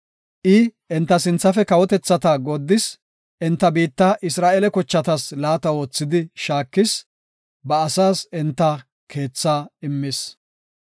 I enta sinthafe kawotethata gooddis; enta biitta Isra7eele kochatas laata oothidi shaakis; ba asaas enta keethaa immis.